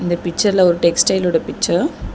இந்த பிச்சர்ல ஒரு டெக்ஸ்டைல்லோட ஓட பிச்சர் .